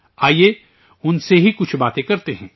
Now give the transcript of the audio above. آئیے، ان سے ہی کچھ باتیں کرتے ہیں